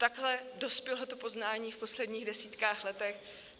Takhle dospělo to poznání v posledních desítkách let.